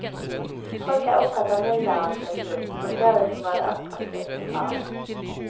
Folk er opptatt av mylderet av tilbud, og ser det som både attraktivt og farlig.